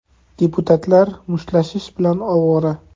Deputatlar mushtlashish bilan ovora.